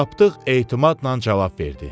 Tapdıq etimadla cavab verdi.